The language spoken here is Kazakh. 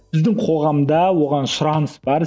біздің қоғамда оған сұраныс бар